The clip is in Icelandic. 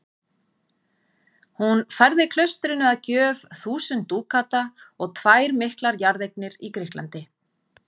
Hún færði klaustrinu að gjöf þúsund dúkata og tvær miklar jarðeignir í Grikklandi.